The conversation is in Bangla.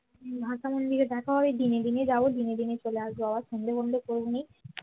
ভাসানের দিনে দেখা হয় দিনে দিনে যাব দিনে দিনে চলে আসব বাবা সন্ধে ফন্দে করবো না